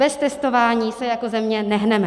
Bez testování se jako země nehneme.